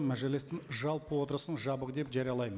мәжілістің жалпы отырысын жабық деп жариялаймын